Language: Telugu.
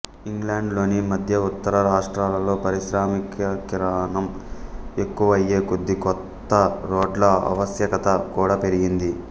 ఇంగ్లండు లోని మధ్య ఉత్తర రాష్ట్రాలలో పారిశ్రామికీకరణం ఎక్కువయ్యే కొద్దీ కొత్త రోడ్ల ఆవశ్యకత కూడా పెరిగింది